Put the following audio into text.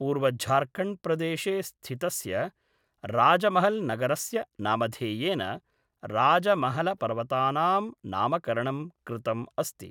पूर्वझार्खण्ड्प्रदेशे स्थितस्य राजमहल्नगरस्य नामधेयेन राजमहलपर्वतानां नामकरणं कृतम् अस्ति।